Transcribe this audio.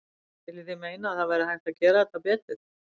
Viljið þið meina að það væri hægt að gera þetta betur?